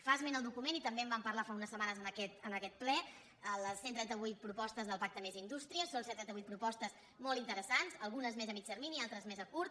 fa esment el document i també en vam parlar fa unes setmanes en aquest ple de les cent i trenta vuit propostes del pacte més indústria són cent i trenta vuit propostes molt interessants algunes més a mitjà termini altres més a curt